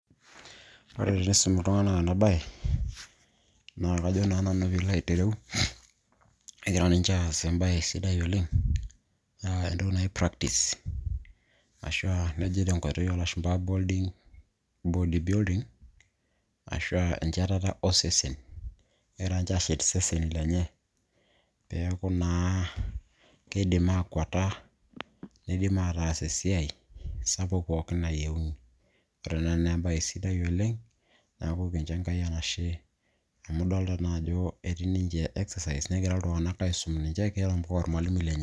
ore tenaisum iltung'anak ena baye naa kajo naa nanu piilo aitereu kegira ninche aas embaye sidai oleng uh, entoki naji practice ashua neji tenkoitoi oolashumpa body building ashua enchatata osesen kegira ninche aashet iseseni lenye peeku naa kidim akwata nidim ataas esiai sapuk pookin nayieuni ore ena naa embaye sidai oleng neeku kincho Enkai enashe amu idolta naa ajo etii ninche exercise negira iltung'anak aisum ninche keeta mpaka ormalimui lenye.